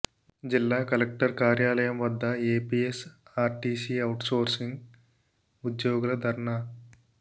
జిల్లా కలెక్టర్ కార్యాలయం వద్ద ఏపీఎస్ ఆర్టీసీ ఔట్ సోర్సింగ్ ఉద్యోగుల ధర్నా